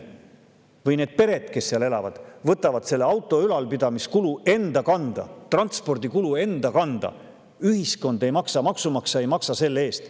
Need pered, kes seal elavad, võtavad auto ülalpidamise kulu enda kanda, võtavad transpordikulu enda kanda ja ühiskond, maksumaksja ei maksa selle eest.